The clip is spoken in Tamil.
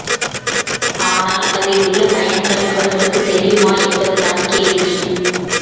ஆனால் அதில் உள்ள பயன்கள் அவர்களுக்கு தெரியுமா என்பது தான் கேள்வி